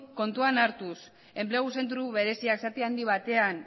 kontuan hartuz enplegu zentro bereziak zati handi batean